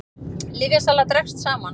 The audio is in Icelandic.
Lyfjasala dregst saman